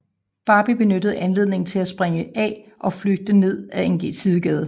Barbie benyttede anledningen til at springe af og flygte ned ad en sidegade